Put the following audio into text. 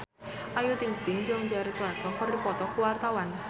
Ayu Ting-ting jeung Jared Leto keur dipoto ku wartawan